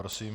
Prosím.